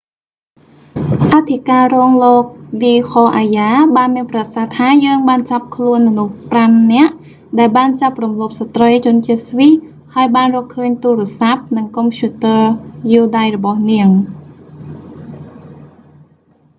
អធិការរងលោក ឌីខ អាយ៉ា d k arya បានមានប្រសាសន៍ថា យើងបានចាប់ខ្លួនមនុស្សប្រាំនាក់ ដែលបានចាប់រំលោភស្ត្រីជនជាតិស្វ៊ីសហើយបានរកឃើញទូរស័ព្ទ និងកុំព្យូទ័រយួរដៃរបស់នាង